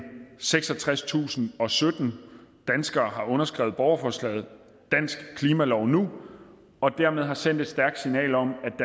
seksogtredstusinde og sytten danskere har underskrevet borgerforslaget dansk klimalov nu og dermed har sendt et stærkt signal om